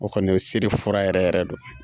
O kɔni o siri fura yɛrɛ yɛrɛ don.